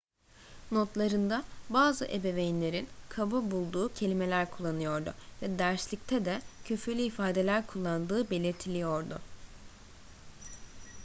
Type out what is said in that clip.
notlarında bazı ebeveynlerin kaba bulduğu kelimeler kullanıyordu ve derslikte de küfürlü ifadeler kullandığı belirtiliyordu